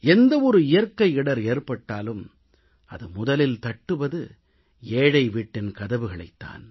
எந்த ஒரு இயற்கை இடர் ஏற்பட்டாலும் அது முதலில் தட்டுவது ஏழை வீட்டின் கதவுகளைத் தான்